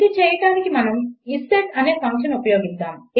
ఇది చేయడానికి మనం ఇస్సెట్ అనే ఫంక్షన్ ఉపయోగిస్తాము